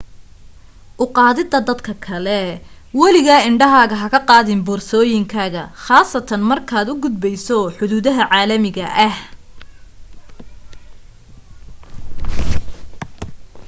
u qaadida dadka kale waligaa indhahaaga ha ka qaadin boorsooyinkaaga qaasatan markaad ka gudbayso xuduudaha caalamiga ah